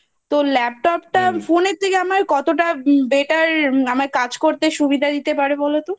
তো Laptop টা Phone এর থেকে আমার কতটা Better আমায় কাজ করতে সুবিধা দিতে পারে বলতো?